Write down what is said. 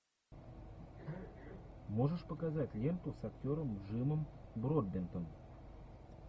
можешь показать ленту с актером джимом бродбентом